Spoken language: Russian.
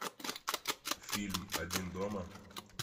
фильм один дома